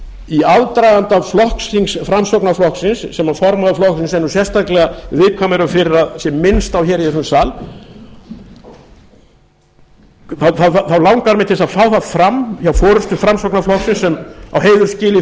í aðdraganda flokksþings framsóknarflokksins sem formaður flokksins er sérstaklega viðkvæmur fyrir að sé minnst á í þessum sal þá langar mig til að fá það fram hjá forustu framsóknarflokksins sem á heiður skilið fyrir